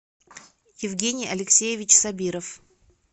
евгений алексеевич сабиров